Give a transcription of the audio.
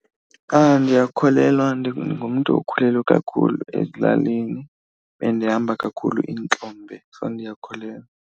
Ndiyakholelwa, ndingumntu okhulele kakhulu ezilalini, bendihamba kakhulu iintlombe so ndiyakholelwa.